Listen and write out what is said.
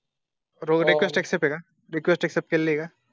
Request ऐका request केली का?